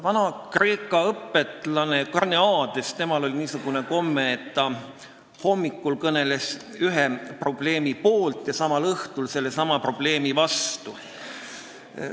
Vana-Kreeka õpetlasel Karneadesel oli niisugune komme, et ta hommikul kõneles probleemi poolt ja samal õhtul sellesama probleemi vastu.